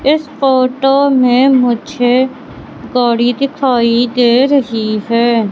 इस फोटो में मुझे गाड़ी दिखाई दे रही है।